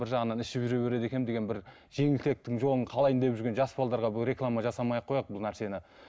бір жағынан ішіп жүре береді екенмін деген бір жеңілтектің жолын қалайын деп жүрген жас реклама жасамай ақ қояйық бұл нәрсені